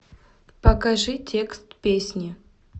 покажи текст песни